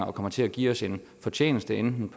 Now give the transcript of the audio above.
kommer til at give os en fortjeneste enten i